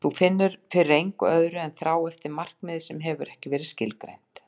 Og þú finnur fyrir engu öðru en þrá eftir markmiði sem hefur ekki verið skilgreint.